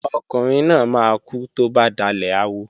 Ọkùnrin náà máa kú tó bá dalẹ̀ awo